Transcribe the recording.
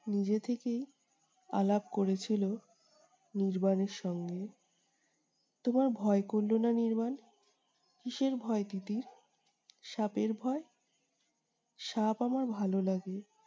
নিজে থেকেই আলাপ করেছিল নির্বাণের সঙ্গে। তোমার ভয় করলো না নির্বাণ? কীসের ভয় তিতির? সাপের ভয়? সাপ আমার ভাল লাগে।